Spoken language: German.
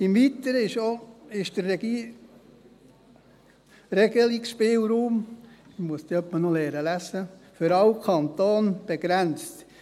Im Weiteren ist der Regelungsspielraum –– ich muss wohl noch lesen lernen – für alle Kantone begrenzt;